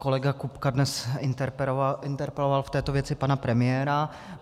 Kolega Kupka dnes interpeloval v této věci pana premiéra.